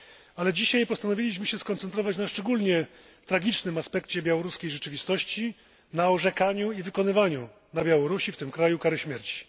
Ale dzisiaj postanowiliśmy skoncentrować się na szczególnie tragicznym aspekcie białoruskiej rzeczywistości na orzekaniu i wykonywaniu w tym kraju kary śmierci.